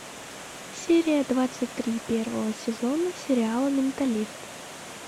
серия двадцать три первого сезона сериала менталист